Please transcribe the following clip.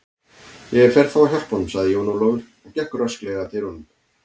Ég fer þá að hjálpa honum, sagði Jón Ólafur og gekk rösklega að dyrunum.